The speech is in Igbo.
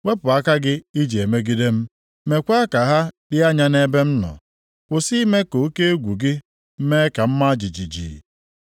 Wepụ aka gị i ji emegide m, meekwa ka ha dị anya nʼebe m nọ. Kwụsị ime ka oke egwu gị mee ka m maa jijiji.